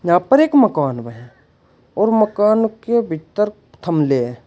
यहां पर एक मकान में है और मकान के भीतर थमले--